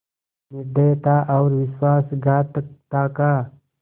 निर्दयता और विश्वासघातकता का